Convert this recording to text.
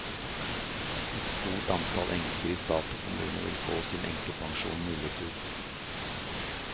Et stort antall enker i stat og kommune vil få sin enkepensjon nullet ut.